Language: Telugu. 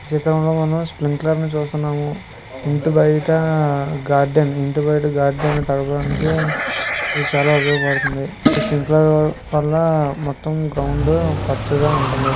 జీతంలో మనం స్ప్లింక్లర్ ను చూస్తున్నాము. ఇంటి బయట గార్డెన్ ఇంటి బయట గార్డెన్ తడపడానికి ఇది చాలా ఉపయోగపడుతుంది. ఈ స్ప్లింక్లరు వల్ల మొత్తం గ్రౌండ్ పచ్చగా ఉంటుంది.